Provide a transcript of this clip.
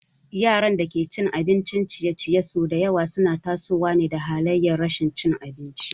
Yaran da ke cin abincin ciye-ciye sau da yawa suna tasowa halayar rashin cin abinci.